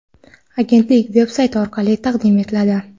agentlik veb-sayti orqali taqdim etiladi.